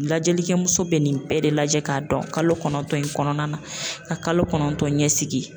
Lajɛlikɛ muso be nin bɛɛ de lajɛ ka dɔn kalo kɔnɔntɔn in kɔnɔna na ka kalo kɔnɔntɔn ɲɛsigi.